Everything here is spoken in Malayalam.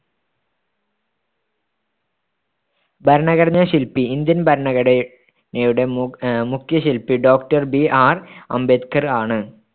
ഭരണഘടനാ ശിൽപി ഇന്ത്യൻ ഭരണഘടനയുടെ മുഖ്യ ശിൽപി doctorBR അംബേദ്കർ ആണ്.